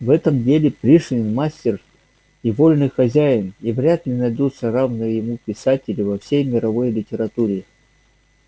в этом деле пришвин мастер и вольный хозяин и вряд ли найдутся равные ему писатели во всей мировой литературе